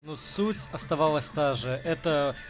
суть осталась та же это